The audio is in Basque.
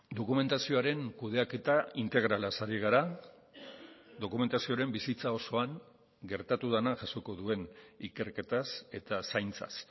dokumentazioaren kudeaketa integralaz ari gara dokumentazioaren bizitza osoan gertatu dena jasoko duen ikerketaz eta zaintzaz